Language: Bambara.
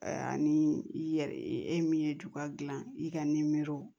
Ani i yɛrɛ i min ye juga dilan i ka nimerow